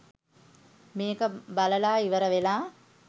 මේක බලලා ඉවර වෙලා